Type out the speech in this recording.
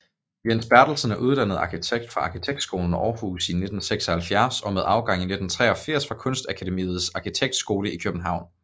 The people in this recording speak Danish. Jens Bertelsen er uddannet arkitekt fra Arkitektskolen Aarhus i 1976 og med afgang i 1983 fra Kunstakademiets Arkitektskole i København